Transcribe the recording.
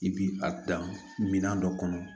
I bi a dan minɛn dɔ kɔnɔ